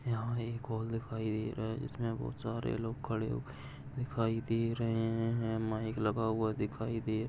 यहा एक हॉल दिखाई दे रहा है। इसमे बहुत सारे लोग खड़े हुए दिखाई दे रहे है। माइक लगा हुआ दिखाई दे --